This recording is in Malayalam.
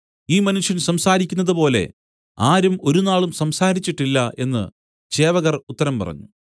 ഈ മനുഷ്യൻ സംസാരിക്കുന്നതുപോലെ ആരും ഒരുനാളും സംസാരിച്ചിട്ടില്ല എന്നു ചേവകർ ഉത്തരം പറഞ്ഞു